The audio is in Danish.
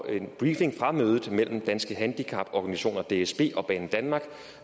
en briefing fra mødet mellem danske handicaporganisationer dsb og banedanmark